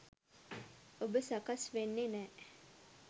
ඔබ සකස් වෙන්නෙ නෑ.